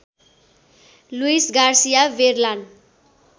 Louis Garcia बेरलान